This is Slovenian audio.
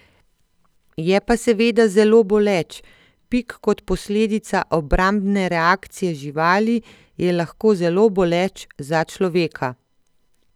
Je pa seveda zelo boleč: 'Pik, kot posledica obrambne reakcije živali, je lahko zelo boleč za človeka.